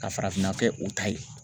Ka farafinna kɛ u ta ye